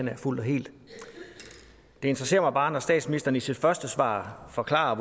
jeg fuldt og helt det interesserer mig bare at statsministeren i sit første svar forklarer